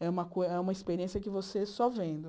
é uma co é uma experiência que você só vendo.